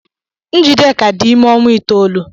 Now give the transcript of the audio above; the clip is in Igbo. Njideka dị ime ọnwa itoolu.